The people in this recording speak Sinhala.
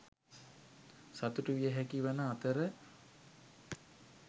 සතුටු විය හැකිවන අතර